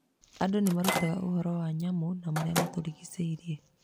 Andũ nĩ merutaga ũhoro wa nyamũ na marĩa matũrigicĩirie.